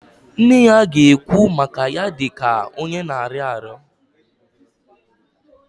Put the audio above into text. Nne ya ga-ekwu maka ya dị ka onye na-arịọ arịrịọ